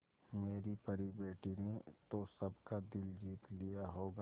मेरी परी बेटी ने तो सबका दिल जीत लिया होगा